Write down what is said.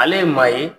Ale ye maa ye